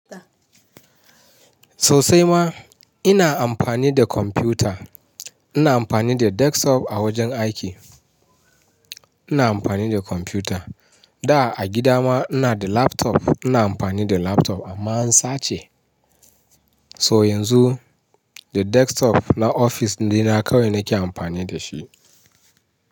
Sosai ma ina amfani da kwamfuta. Ina amfani da desktop a wajen aiki ina amfani da kwamfuta. Da a gida ma ina da laptop ina amfani da laptop amma an sace. So yanzu da desktop na ofis dina kawai nake amfani da shi.